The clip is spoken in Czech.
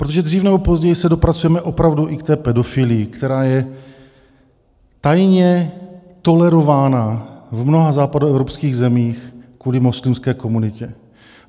Protože dříve nebo později se dopracujeme opravdu i k té pedofilii, která je tajně tolerována v mnoha západoevropských zemích kvůli muslimské komunitě.